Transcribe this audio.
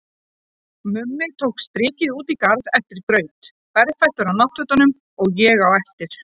Mummi tók strikið út í garð eftir graut, berfættur á náttfötunum, og ég á eftir.